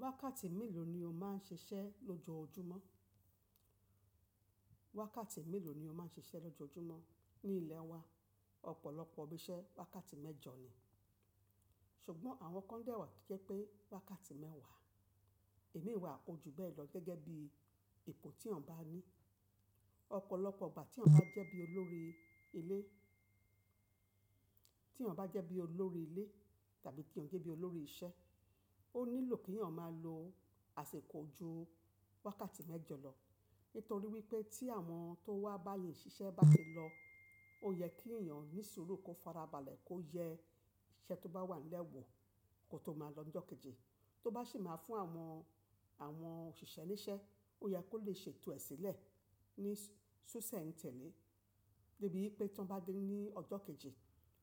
Wákàtí mélòó ni o má ń sisẹ́ lójoójúmọ́? Wákàtí mélòó ni o ma ń sisẹ́ lójoójúmọ́ ní ilẹ̀ wa? Ọ̀pọ̀lọpọ̀ ibí iṣẹ́ wákàtí mẹ́jọ ni, ṣùgbọ́n àwọn kan dẹ́ wa to jẹ́ pé wákàtí mẹ́wàá. Imin wà o jú be ẹ̀ lọ gẹ́gẹ́ bí ipò tí èyan bà ní. Ọ̀pọ̀lọpọ̀ ìgbà tí èyan bá jẹ́ bí olórí ilé, tí èyan bá jẹ́ bí olórí ilé tàbí tí èyan jẹ́ bí olórí iṣẹ́, ó nílò kí èyan má lo àsìkò jú wákàtí mẹ́jọ lọ nítorí wípé tí àwọn tó wá bá eyan ṣiṣẹ́ bá ti lọ, ó yẹ kí èyan ní sùúrù kó farabalẹ̀ kó yẹ iṣẹ́ tó bá wànlẹ́ wọ̀ kó tó má di ọ́jọ́ kejì. To ba si maa fun awon, awon osise nise, o ye ki o le seto e sile ni sisentele, debi wipe tan ba de ni ojo keji